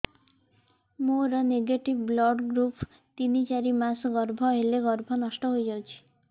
ମୋର negative blood group ତିନ ଚାରି ମାସ ଗର୍ଭ ହେଲେ ଗର୍ଭ ନଷ୍ଟ ହେଇଯାଉଛି